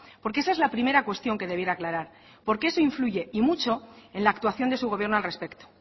porque esa es la primera cuestión que debiera aclarar porque eso influye y mucho en la actuación de su gobierno al respecto